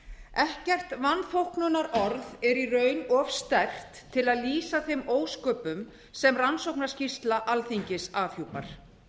ekkert vanþóknunarorð er í raun of sterkt til að lýsa þeim ósköpum sem rannsóknarskýrsla alþingis afhjúpar